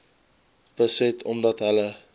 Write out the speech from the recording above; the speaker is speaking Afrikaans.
beset omdat hulle